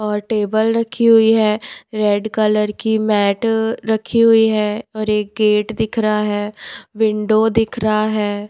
और टेबल रखी हुई है रेड कलर की मैट रखी हुई है और एक गेट दिख रहा है। विंडो दिख रहा है।